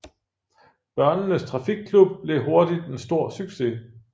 Børnenes Trafikklub blev hurtigt en stor succes